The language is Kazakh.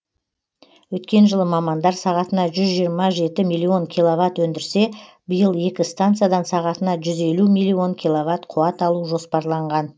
өткен жылы мамандар сағатына жүз жиырма жеті миллион киловатт өндірсе биыл екі станциядан сағатына жүз елу миллион киловатт қуат алу жоспарланған